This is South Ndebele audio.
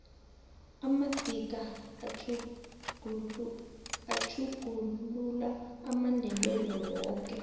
amadika atjhuglula amandebele woke